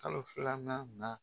Kalo filanan na